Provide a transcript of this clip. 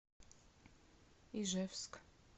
ижевск